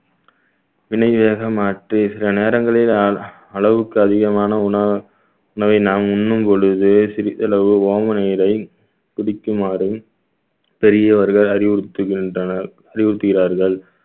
வினையாக மாற்றி சில நேரங்களில் அ~ அளவுக்கு அதிகமான உணவு உணவை நாம் உண்ணும் பொழுது சிறிதளவு ஓம நீரை குடிக்குமாறும் பெரியவர்கள் அறிவுறுத்துகின்றனர் அறிவுறுத்துகிறார்கள்